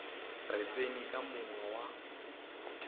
re tseni ka monga wa